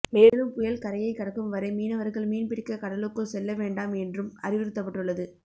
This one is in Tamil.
மேலும் புயல் கரையை கடக்கும் வரை மீனவர்கள் மீன்பிடிக்க கடலுக்குள் செல்ல வேண்டாம் என்றும் அறிவுறுத்தப்பட்டுள்ளது